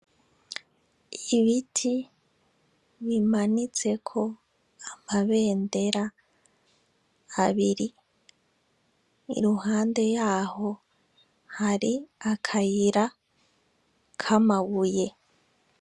Ibiti bimanitseko amabendera abiri , iruhande yaho hari akayira k'amabuye.